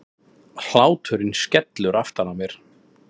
Hláturinn skellur aftan á mér.